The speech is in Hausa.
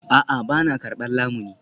A'a, ba na karbar lamuni